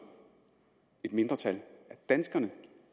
et mindretal af danskerne